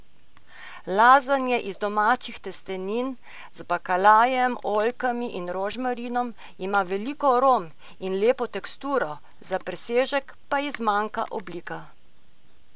Lazanja iz domačih testenin, z bakalarjem, oljkami in rožmarinom, ima veliko arom in lepo teksturo, za presežek pa ji zmanjka oblika.